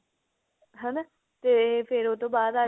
ਹਨਾ ਤੇ ਫਿਰ ਉਹ ਤੋਂ ਬਾਅਦ ਆ